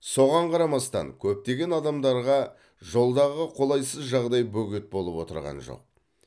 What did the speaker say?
соған қарамастан көптеген адамдарға жолдағы қолайсыз жағдай бөгет болып отырған жоқ